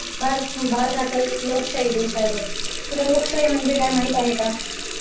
भारत हा खरच एक लोकशाही देश आहे बघ तुला लोकशाही म्हणजे काय माहित आहे का?